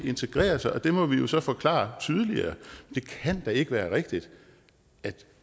integrere sig og det må vi jo så forklare tydeligere det kan da ikke være rigtigt at